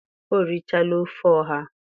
o richaala ofe ọha